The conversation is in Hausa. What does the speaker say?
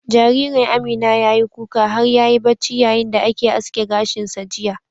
Jaririn Amina ya yi kuka har ya yi bacci yayin da ake aske gashin sa jiya.